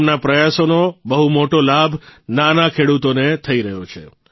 તેમના પ્રયાસોનો બહુ મોટો લાભ નાના ખેડૂતોને થઇ રહ્યો છે